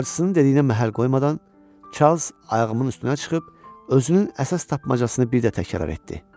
Bacısının dediyinə məhəl qoymadan Çarlz ayağımın üstünə çıxıb özünün əsas tapmacasını bir də təkrar etdi.